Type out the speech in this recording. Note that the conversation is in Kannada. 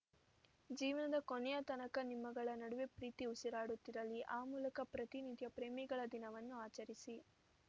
ಜೀವನದ ಕೊನೆಯ ತನಕ ನಿಮ್ಮಗಳ ನಡುವೆ ಪ್ರೀತಿ ಉಸಿರಾಡುತ್ತಿರಲಿ ಆ ಮೂಲಕ ಪ್ರತಿ ನಿತ್ಯ ಪ್ರೇಮಿಗಳ ದಿನವನ್ನು ಆಚರಿಸಿ